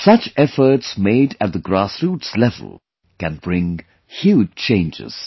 Such efforts made at the grassroots level can bring huge changes